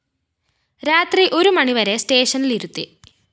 രാത്രി ഒരു മണിവരെ സ്‌റ്റേഷനിലിരുത്തി